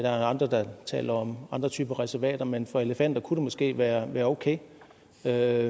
andre har talt om andre typer reservater men for elefanter kunne det måske være okay så jeg